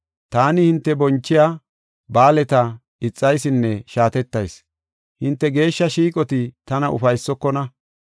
“Taani hinte bonchiya ba7aaleta ixaysinne shaatettayis; hinte geeshsha shiiqoti tana ufaysokona.